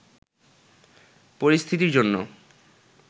পরিস্থিতির জন্য